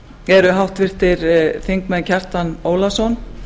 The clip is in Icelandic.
eru háttvirtir þingmenn kjartan ólafsson